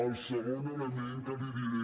el segon element que li diré